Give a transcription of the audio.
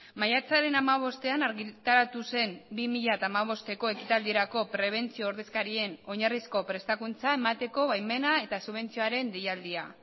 maiatzaren hamabostean argitaratu zen bi mila hamabosteko ekitaldirako prebentzio ordezkarien oinarrizko prestakuntza emateko baimena eta subentzioaren deialdia